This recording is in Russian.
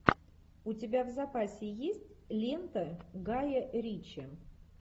у тебя в запасе есть лента гая ричи